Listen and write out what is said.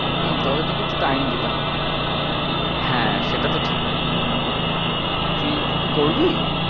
হম তবে তোকে একটু time দিতে হবে হ্যাঁ সেটা তো ঠিকই, তুই তুই কি করবি?